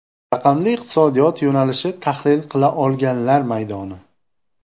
Raqamli iqtisodiyot yo‘nalishi tahlil qila olganlar maydoni.